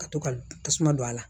Ka to ka tasuma don a la